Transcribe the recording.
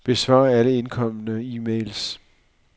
Besvar alle indkomne e-mails.